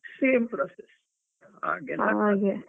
Same process .